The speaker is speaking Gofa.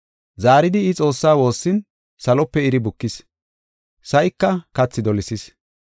Zaaridi I Xoossaa woossin salope iri bukis; sa7ika kathi dolisees.